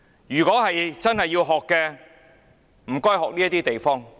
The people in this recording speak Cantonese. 如果真的要學習，請學習這些地方。